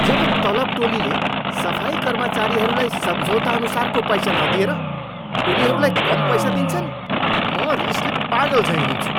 जब तलब टोलीले सफाई कर्मचारीहरूलाई सम्झौताअनुसारको पैसा नदिएर उनीहरूलाई कम पैसा दिन्छ नि म रिसले पागलझैँ हुन्छु।